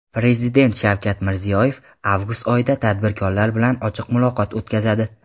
prezident Shavkat Mirziyoyev avgust oyida tadbirkorlar bilan ochiq muloqot o‘tkazadi.